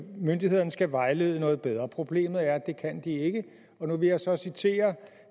myndighederne skal vejlede noget bedre problemet er at det kan de ikke nu vil jeg så citere